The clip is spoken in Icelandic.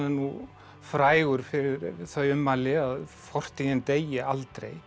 frægur fyrir þau ummæli að fortíðin deyi aldrei